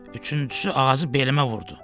Üçüncüsü ağacı belimə vurdu.